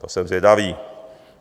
To jsem zvědavý.